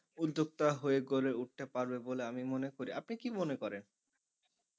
উদ্যোক্তা হয়ে গড়ে উঠতে পারবে বলে আমি মনে করি আপনি কি মনে করেন?